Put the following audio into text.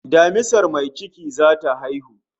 Damisar mai ciki zata haihu